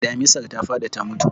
Damisar ta faɗi ta mutu.